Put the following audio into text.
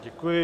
Děkuji.